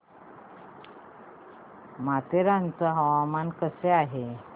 माथेरान चं हवामान कसं आहे